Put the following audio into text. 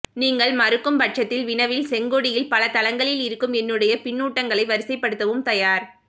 நீங்கள் மறுக்கும் பட்சத்தில் வினவில் செங்கொடியில் பல தளங்களில் இருக்கும் என்னுடைய பின்னூட்டங்களை வரிசை படுத்தவும் தயார்